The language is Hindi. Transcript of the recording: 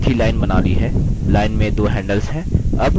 line में दो handles हैं